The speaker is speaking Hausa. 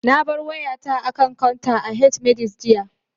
Na bar wayata a kan counter a H-medics, jiya